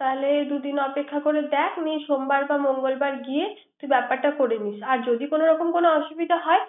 তাইলে দুদিন অপেক্ষা করে দেখ না হয় সোম বার বা মঙ্গলবার গিয়ে ব্যাপারটা করে নিস